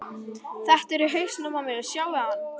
Þetta er hausinn á mér, sjáiði hann?